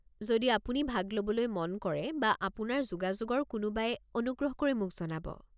যদি আপুনি ভাগ ল'বলৈ মন কৰে বা আপোনাৰ যোগাযোগৰ কোনোবাই, অনুগ্ৰহ কৰি মোক জনাব।